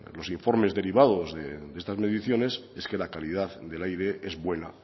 los informes derivados de estas mediciones es que la calidad del aire es buena